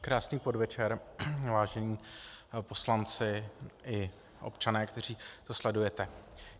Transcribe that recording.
Krásný podvečer, vážení poslanci i občané, kteří to sledujete.